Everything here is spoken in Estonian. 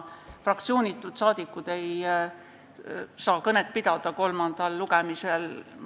Fraktsioonitud saadikud ei saa kolmandal lugemisel kõnet pidada.